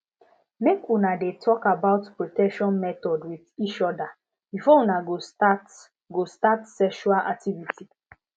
make una de talk about protection method with each other before una go start go start sexual activity